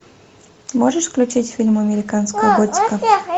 можешь включить фильм американская готика